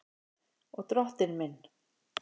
Og Drottinn minn!